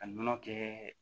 Ka nɔnɔ kɛ